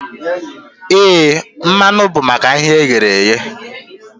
Éè, mmanụ bụ maka ihe e ghere eghe